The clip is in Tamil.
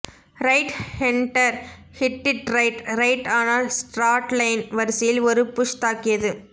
right hander hit it right right ஆனால் ஸ்ட்ராட்லைன் வரிசையில் ஒரு புஷ் தாக்கியது